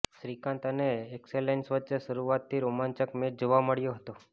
શ્રીકાંત અને એક્સેલસન વચ્ચે શરૂઆતથી રોમાંચક મેચ જોવા મળ્યો હતો